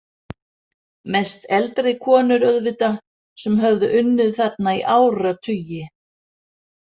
Mest eldri konur auðvitað sem höfðu unnið þarna í áratugi.